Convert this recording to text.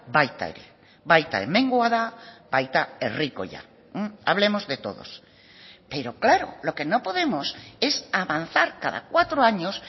baita ere baita hemengoa da baita herrikoia hablemos de todos pero claro lo que no podemos es avanzar cada cuatro años